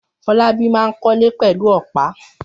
Fọlábí máa ń kọ́lé pẹ̀lú ọ̀pá.